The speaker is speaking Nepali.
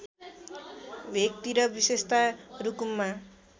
भेकतिर विशेषत रुकुममा